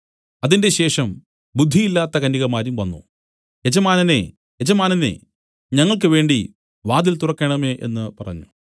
അതിന്‍റെശേഷം ബുദ്ധിയില്ലാത്ത കന്യകമാരും വന്നു യജമാനനെ യജമാനനെ ഞങ്ങൾക്കുവേണ്ടി വാതിൽ തുറക്കേണമേ എന്നു പറഞ്ഞു